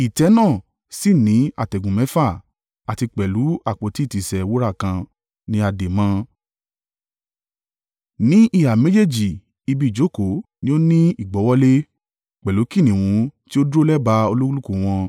Ìtẹ́ náà sì ní àtẹ̀gùn mẹ́fà, àti pẹ̀lú àpótí ìtìsẹ̀ wúrà kan ni a dè mọ́ ọn. Ní ìhà méjèèjì ibi ìjókòó ní ó ní ìgbọ́wọ́lé, pẹ̀lú kìnnìún tí ó dúró lẹ́bàá olúkúlùkù wọn.